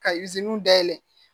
Ka iziniw dayɛlɛ